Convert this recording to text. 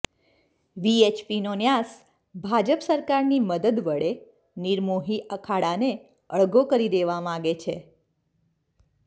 વીએચપીનો ન્યાસ ભાજપ સરકારની મદદ વડે નિર્મોહી અખાડાને અળગો કરી દેવા માગે છે